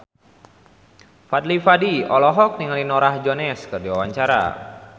Fadly Padi olohok ningali Norah Jones keur diwawancara